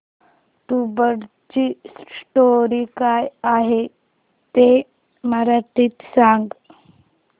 तुंबाडची स्टोरी काय आहे ते मराठीत सांग